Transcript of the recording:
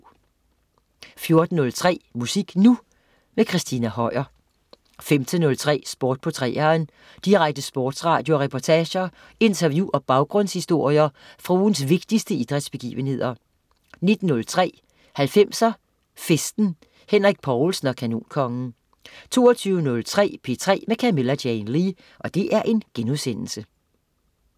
14.03 Musik Nu! Christina Høier 15.03 Sport på 3'eren. Direkte sportsradio med reportager, interview og baggrundshistorier fra ugens vigtigste idrætsbegivenheder 19.03 90'er Festen. Henrik Povlsen og Kanonkongen 22.03 P3 med Camilla Jane Lea*